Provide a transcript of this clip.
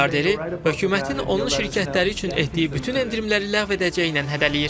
Milyarderi hökumətin onun şirkətləri üçün etdiyi bütün endirimləri ləğv edəcəyindən hədələyir.